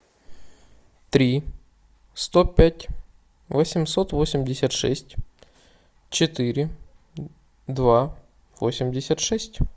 три сто пять восемьсот восемьдесят шесть четыре два восемьдесят шесть